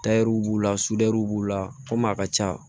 b'u la b'u la komi a ka ca